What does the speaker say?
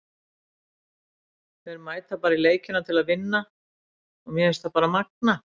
Þær mæta bara í leikina til að vinna og mér finnst það bara magnað.